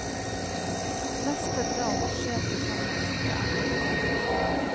Neste drap skjer på samme måte.